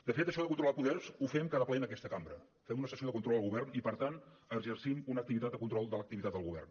de fet això de controlar poders ho fem cada ple en aquesta cambra fem una sessió de control al govern i per tant exercim una activitat de control de l’activitat del govern